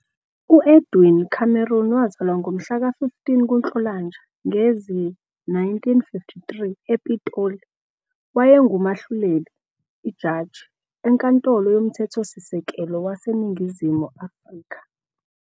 U-Edwin Cameron, wazalwa ngo-15 kuNhlolanja ngezi-1953 ePitoli, wayengumahluleli, iJaji, eNkantolo yoMthethosisekelo waseNingizimu Afrika.